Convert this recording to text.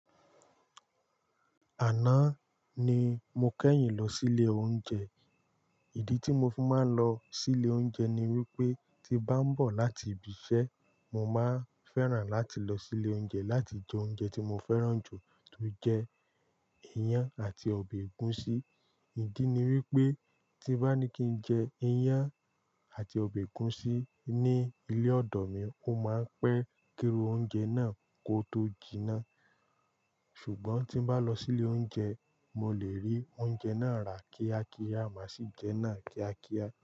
Àná ni mo kẹ́yìn lọ sí ilé oúnjẹ. Ìdí tí mo fi máa ń lọ sí ilé oúnjẹ ni wípé tí nbá ń bọ̀ láti ibi iṣẹ́, mo máa ń fẹ́ràn láti lọ sí ilé oúnjẹ láti jẹ oúnjẹ tí mo fẹ́ràn jù, tó jẹ́ iyán àti ọbẹ̀ ẹ̀gúsí. Ìdí ni wípé tí nbá ní kí n jẹ iyán àti ọbẹ̀ ẹ̀gúsí ní ilé ọ̀dọ̀ mi, ó máa ń pẹ́ kíru oúnjẹ náà kó tó jiná. Ṣùgbọ́n tí mbá lọ sí ilé oúnjẹ, mo lè rí oúnjẹ náà rà kíá kíá, màá sì jẹ́ náà kíá kíá.